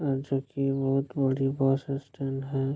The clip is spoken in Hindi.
अ जो कि बहुत बड़ी बॉस स्टैन है --